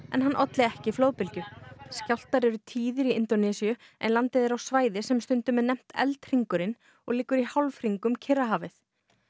en hann olli ekki flóðbylgju skjálftar eru tíðir í Indónesíu landið er á svæði sem stundum er nefnt og liggur í hálfhring um Kyrrahafið